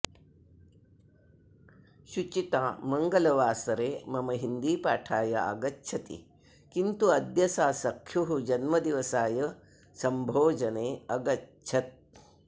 शुचिता मङ्गलवासरे मम हिन्दीपाठाय आगच्छति किन्तु अद्य सा सख्युः जन्मदिवसाय सम्भोजने अगच्छत्